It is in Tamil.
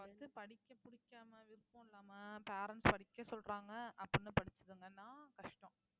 வந்து படிக்க பிடிக்காம விருப்பம் இல்லாம parents படிக்க சொல்றாங்க அப்படின்னு படிச்சுதுங்கன்னா கஷ்டம்